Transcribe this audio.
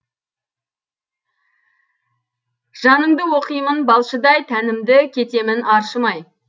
жаныңды оқимын балшыдай тәнімді кетемін аршымай